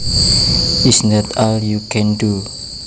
Is that all you can do